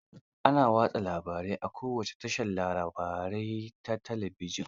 Ana watsa labarai a kowace tashar labarai ta talabijin.